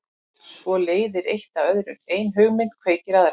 Svo leiðir eitt af öðru, ein hugmynd kveikir aðra.